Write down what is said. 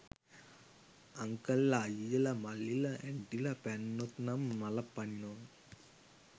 අංකල්ල අයියල මල්ලිල ඇන්ටිල පැන්නොත් නං මලපනිනව